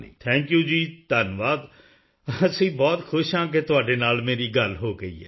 thank you ਜੀ ਧੰਨਵਾਦ ਅਸੀਂ ਬਹੁਤ ਖੁਸ਼ ਹਾਂ ਕਿ ਤੁਹਾਡੇ ਨਾਲ ਮੇਰੀ ਗੱਲ ਹੋ ਗਈ ਹੈ